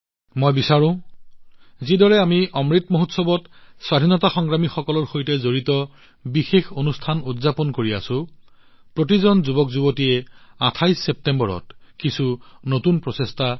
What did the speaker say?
মই এইটো বিচাৰো যিদৰে আমি অমৃত মহোৎসৱত স্বাধীনতা সংগ্ৰামীসকলৰ সৈতে সম্পৰ্কিত বিশেষ অনুষ্ঠান উদযাপন কৰি আছো প্ৰতিজন যুৱকযুৱতীয়ে ২৮ ছেপ্টেম্বৰত কিছু নতুন প্ৰচেষ্টা কৰক